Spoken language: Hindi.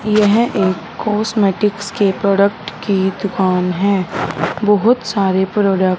यह एक कॉस्मेटिक्स के प्रोडक्ट की दुकान है। बहोत सारे प्रोडक्ट --